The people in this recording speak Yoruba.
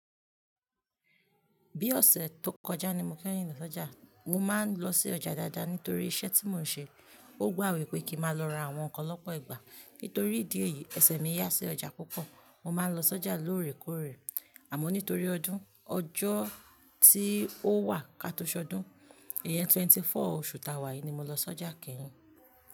Bí ọ̀sẹ̀ tó kọjá ni mo kẹ́yin lọ sọ́jà. Mo máa ń lọ sí ọjà dáadáa nítorí iṣẹ́ tí mò ń ṣe. Ó gbà wípé kí ma lọ ra àwọn kan lọ́pọ̀lọpọ̀ ìgbà. Nítorí ìdí èyí, ẹsẹ̀ mi yá sí ọjà púpọ̀. Mo máa ń lọ sọ́jà lóòrèkóòrè. Àmọ́ nítorí ọdún, ọjọ́ tí ó wà ká tó ṣọdún, iyẹn 24 oṣù ta wá yìí ni mo lọ sọ́jà kẹ́yin.